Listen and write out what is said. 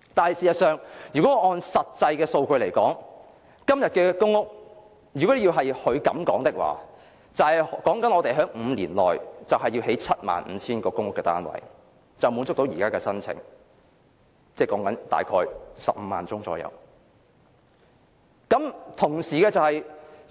可是，按照實際數據，今天的公屋供應如果要符合她的說法，即是在5年內興建 75,000 個公屋單位，便可滿足現時約15萬宗申請，但同時需要在未來